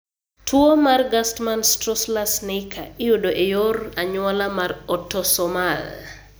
Tuwo mar Gerstmann Straussler Scheinker (GSS) iyudo e yor anyuola mar autosomal .